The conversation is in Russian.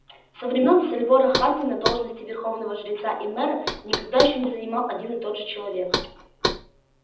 со времён сальвора хардина должности верховного жреца и мэра никогда ещё не занимал один и тот же человек